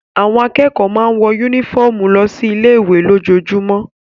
Àwọn akẹ́kọ̀ọ́ máa ń wọ yúnífọ̀mù lọ sí ilé ìwé lójoojúmọ́